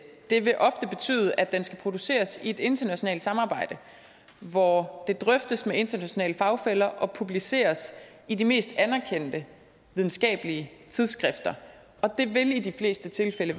det vil ofte betyde at den skal produceres i et internationalt samarbejde hvor den drøftes med internationale fagfæller og publiceres i de mest anerkendte videnskabelige tidsskrifter og det vil i de fleste tilfælde